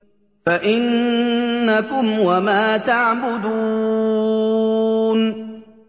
فَإِنَّكُمْ وَمَا تَعْبُدُونَ